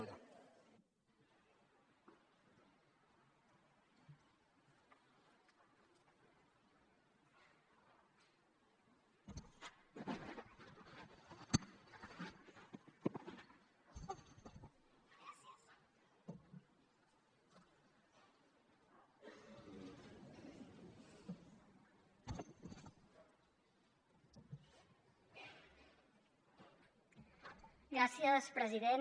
gràcies president